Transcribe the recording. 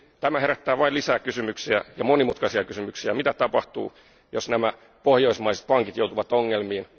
Tämä herättää vain lisää kysymyksiä ja monimutkaisia kysymyksiä mitä tapahtuu, jos nämä pohjoismaiset pankit joutuvat ongelmiin?